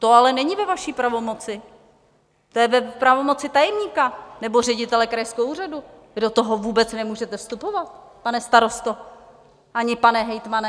To ale není ve vaší pravomoci, to je v pravomoci tajemníka nebo ředitele krajského úřadu, vy do toho vůbec nemůžete vstupovat, pane starosto ani pane hejtmane.